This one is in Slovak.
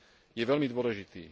je veľmi dôležitý.